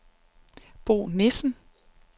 Bo Nissen